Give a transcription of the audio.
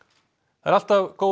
það er alltaf góð